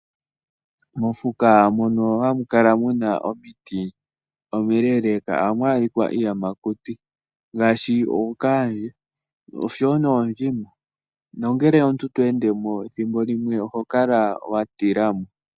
Mofuka mono hamu kala muna omiti omileeleeka ohamu adhika iiyamakuti ngaashi ookaandje oshowo noondjima. Nongele omuntu to ende mo ethimbo limwe oho kala wa tila mo.